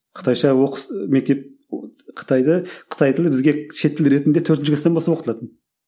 қытайша мектеп қытайда қытай тілі бізге шет тілі ретінде төртінші кластан бастап оқытылатын